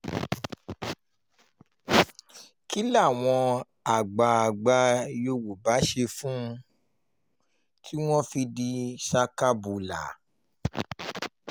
kí làwọn àgbààgbà yorùbá ṣe fún un tí wọ́n fi di àgbà ṣakabàlà